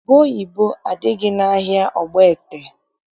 Ubeoyibo adịghị n'ahịa Ogbaete.